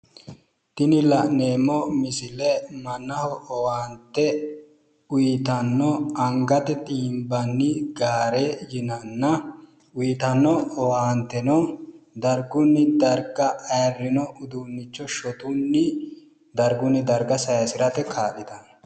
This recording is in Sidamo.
Tini la'neemmo misile mannaho owaante uyitanno angate xiimbanni gaare yinanna uyitanno owaanteno dargunni darga ayirrino uduunnicho shotunni dargunni darga sayisirate kaa'litanno.